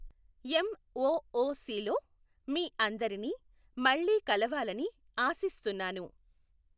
ఎమ్ ఒఒసిలో మీ అందరినీ మళ్ళీ కలవాలని ఆశిస్తున్నాను.